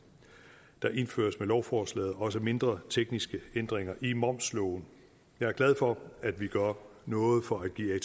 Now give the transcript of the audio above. der indføres med lovforslaget også mindre tekniske ændringer i momsloven jeg er glad for at vi gør noget for at give